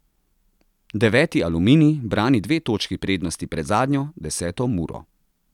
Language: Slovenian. Deveti Aluminij brani dve točki prednosti pred zadnjo, deseto Muro.